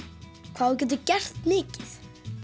hvað þú getur gert mikið